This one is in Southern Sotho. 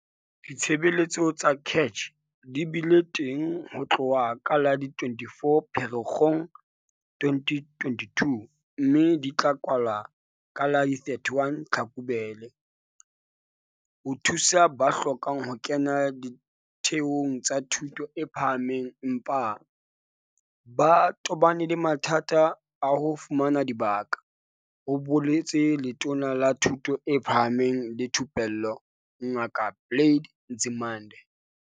"Ditshebeletso tsa CACH di bile teng ho tloha ka la 24 Pherekgong 2022 mme di tla kwalwa ka la 31 Tlhakubele ho thusa ba hlokang ho kena ditheong tsa thuto e phahameng empa ba tobane le mathata a ho fumana dibaka," ho boletse Letona la Thuto e Phahameng le Thupello Ngaka Blade Nzimande.